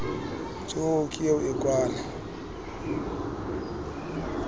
jo ke eo a kwala